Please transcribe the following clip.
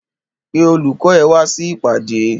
Pé olùkọ́ ẹ wá sí ìpàdé!